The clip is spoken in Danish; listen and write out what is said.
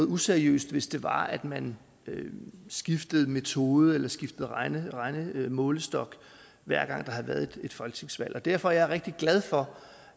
useriøst hvis det var at man skiftede metode eller skiftede regnemålestok hver gang der havde været et folketingsvalg og derfor er jeg rigtig glad for